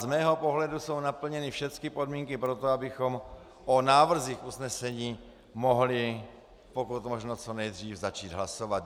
Z mého pohledu jsou naplněny všechny podmínky pro to, abychom o návrzích usnesení mohli pokud možno co nejdřív začít hlasovat.